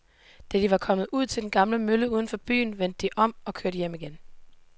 Da de var kommet ud til den gamle mølle uden for byen, vendte de om og kørte hjem igen.